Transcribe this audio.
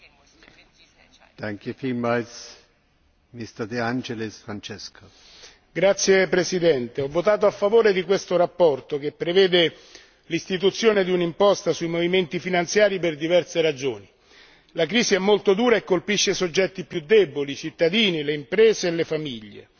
Signor Presidente, onorevoli colleghi, ho votato a favore di questa relazione che prevede l'istituzione di un'imposta sui movimenti finanziari per diverse ragioni. La crisi è molto dura e colpisce i soggetti più deboli, i cittadini, le imprese e le famiglie.